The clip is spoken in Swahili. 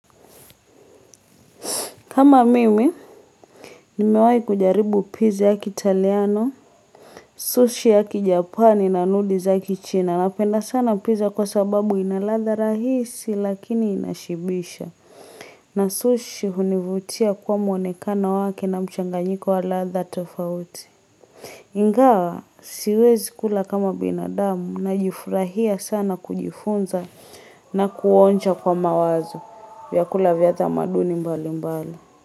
Kama mimi, nimewahi kujaribu pizza ya kitaliano, sushi ya Kijapani na nudiz ya Kichina. Napenda sana pizza kwa sababu ina ladha rahisi lakini inashibisha. Na sushi hunivutia kwa mwonekana wake na mchanganyiko wa ladha tofauti. Ingawa, siwezi kula kama binadamu najifurahia sana kujifunza na kuonja kwa mawazo. Vya kula vya tamaduni mbalimbali.